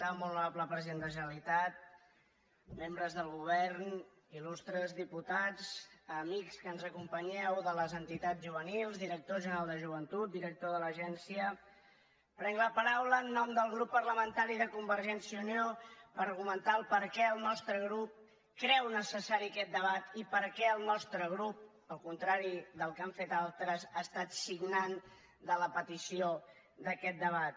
molt honorable president de la generalitat membres del govern il·les entitats juvenils director general de joventut director de l’agència prenc la paraula en nom del grup parlamentari de convergència i unió per argumentar per què el nostre grup creu necessari aquest debat i per què el nostre grup al contrari del que han fet altres ha estat signant de la petició d’aquest debat